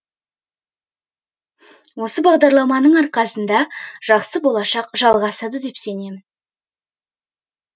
осы бағдарламаның арқасында жақсы болашақ жалғасады деп сенемін